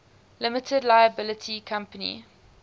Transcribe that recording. limited liability company